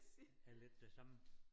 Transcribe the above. Er lidt det samme